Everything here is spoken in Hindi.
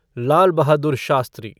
लाल बहादुर शास्त्री